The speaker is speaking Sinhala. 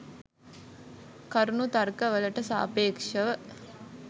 කරුණු තර්ක වලට සාපේෂව